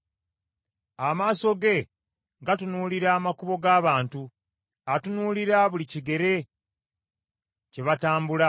“Amaaso ge gatunuulira amakubo g’abantu; atunuulira buli kigere kye batambula.